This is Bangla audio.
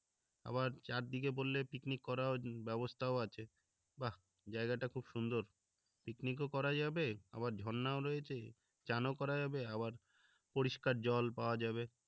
আবার চারদিকে বললে পিকনিক করাও ব্যাবস্থা আছে বাহ জায়গা টা খুব সুন্দর পিকনিকও করা যাবে আবার ঝর্ণাও রয়েছে স্নান করা যাবে আবার পরিষ্কার জল পাওয়া যাবে